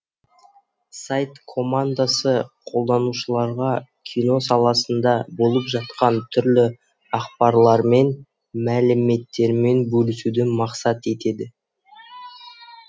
сайт командасы қолданушыларға кино саласында болып жатқан түрлі ақпарлармен мәліметтермен бөлісуді мақсат етеді